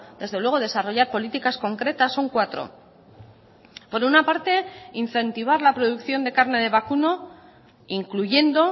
desde luego desarrollar políticas concretas son cuatro por una parte incentivar la producción de carne de vacuno incluyendo